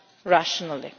rationally.